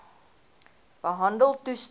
behandeltoestande